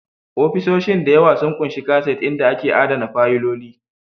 Ofisoshin da yawa sun ƙunshi kaset inda ake adana fayiloli